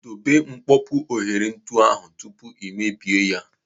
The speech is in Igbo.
Debe mkpopu ohere ntu ahụ tupu ị mebie ya.